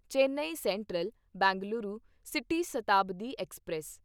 Chennai central Bengaluru city Shatabdi express